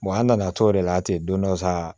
an nana to de la ten don dɔ sa